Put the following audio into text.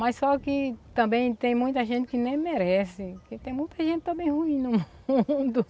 Mas só que também tem muita gente que nem merece, porque tem muita gente também ruim no mundo.